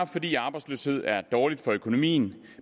fordi arbejdsløshed er dårligt for økonomien